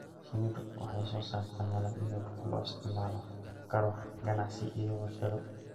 Shinnidu waxay soo saartaa malab iyo dhux loo isticmaali karo ganacsi iyo warshado.